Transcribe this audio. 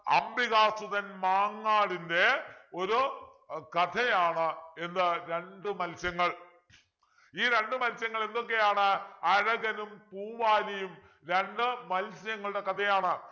അംബിക സുധൻ മാങ്ങാടിൻ്റെ ഒരു കഥയാണ് എന്ത് രണ്ടു മൽസ്യങ്ങൾ ഈ രണ്ടു മൽസ്യങ്ങൾ എന്തൊക്കെയാണ് അഴകനും പൂവാലിയും രണ്ടു മൽസ്യങ്ങളുടെ കഥയാണ്